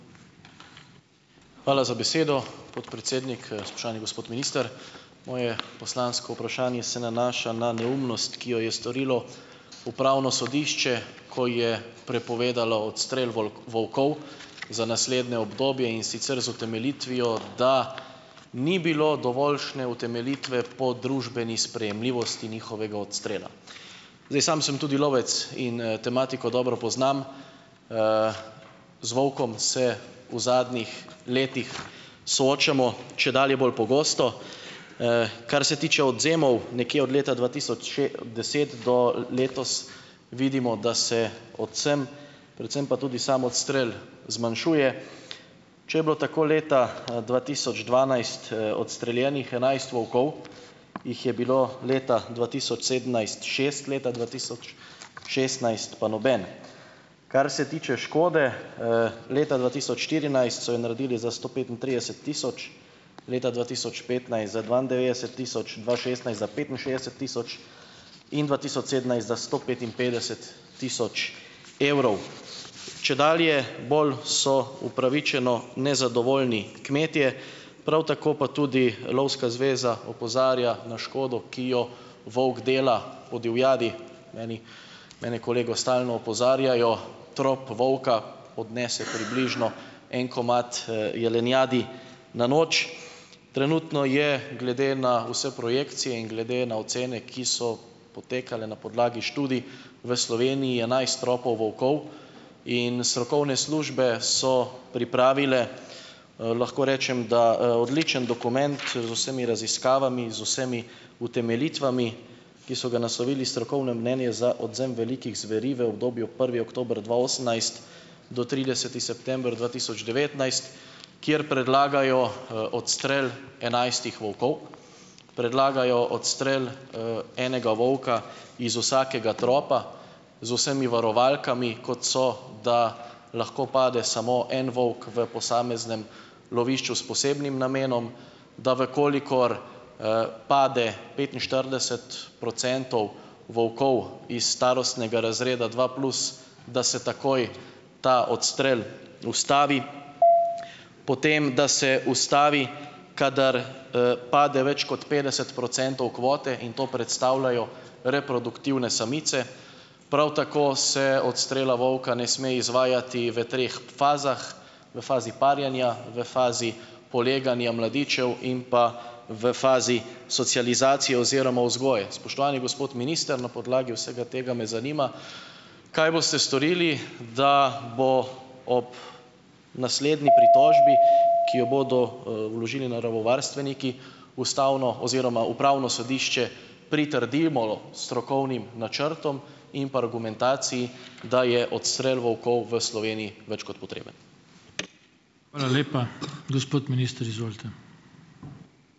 Hvala za besedo, podpredsednik. Spoštovani gospod minister. Moje poslansko vprašanje se nanaša na neumnost, ki jo je storilo upravno sodišče, ko je prepovedalo odstrel volkov za naslednje obdobje, in sicer z utemeljitvijo, da ni bilo dovoljšne utemeljitve po družbeni sprejemljivosti njihovega odstrela. Zdaj, sam sem tudi lovec in, tematiko dobro poznam. Z volkom se v zadnjih letih soočamo čedalje bolj pogosto. Kar se tiče odvzemov nekje od leta dva tisoč še, deset do, letos, vidimo, da se odvzem, predvsem pa tudi sam odstrel zmanjšuje. Če je bilo tako leta, dva tisoč dvanajst, odstreljenih enajst volkov, jih je bilo leta dva tisoč sedemnajst šest, leta dva tisoč šestnajst pa noben. Kar se tiče škode, leta dva tisoč štirinajst so jo naredili za sto petintrideset tisoč, leta dva tisoč petnajst za dvaindevetdeset tisoč, dva šestnajst za petinšestdeset tisoč in dva tisoč sedemnajst za sto petinpetdeset tisoč evrov. Čedalje bolj so upravičeno nezadovoljni kmetje, prav tako pa tudi, lovska zveza opozarja na škodo, ki jo volk dela po divjadi. Meni ... Mene kolegi stalno opozarjajo, trop volka odnese približno en komad, jelenjadi na noč. Trenutno je glede na vse projekcije in glede na ocene, ki so potekale na podlagi študij, v Sloveniji enajst tropov volkov. In strokovne službe so pripravili, lahko rečem, da, odličen dokument z vsemi raziskavami, z vsemi utemeljitvami, ki so ga naslovili Strokovno mnenje za odvzem velikih zveri v obdobju prvi oktober dva osemnajst do trideseti september dva tisoč devetnajst, kjer predlagajo, odstrel enajstih volkov, predlagajo odstrel, enega volka iz vsakega tropa z vsemi varovalkami, kot so, da lahko pade samo en volk v posameznem lovišču s posebnim namenom, da v kolikor, pade petinštirideset procentov volkov iz starostnega razreda dva plus, da se takoj ta odstrel ustavi. Potem da se ustavi, kadar, pade več kot petdeset procentov kvote, in to predstavljajo reproduktivne samice. Prav tako se odstrela volka ne sme izvajati v treh fazah: v fazi parjenja, v fazi poleganja mladičev in pa v fazi socializacije oziroma vzgoje. Spoštovani gospod minister! Na podlagi vsega tega me zanima, kaj boste storili, da bo ob naslednji pritožbi, ki jo bodo, vložili naravovarstveniki, ustavno oziroma upravno sodišče pritrdilo strokovnim načrtom in pa argumentaciji, da je odstrel volkov v Sloveniji več kot potreben.